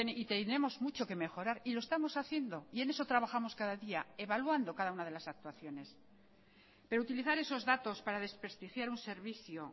y tenemos mucho que mejorar y lo estamos haciendo y en eso trabajamos cada día evaluando cada una de las actuaciones pero utilizar esos datos para desprestigiar un servicio